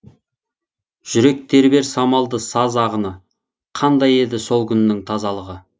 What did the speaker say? жүрек тербер самалды саз ағыны қандай еді сол күннің тазалығы